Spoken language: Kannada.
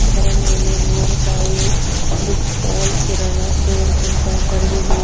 ಅದರ ಮೇಲೆ Om Sai book stall kirana store ಅಂತ ಬರೆದಿದೆ.